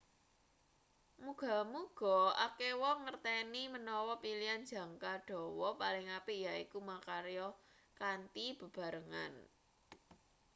muga-muga akeh wong ngerteni manawa pilihan jangka dawa paling apik yaiku makarya kanthi bebarengan